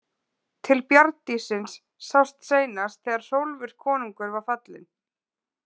Til bjarndýrsins sást seinast þegar Hrólfur konungur var fallinn.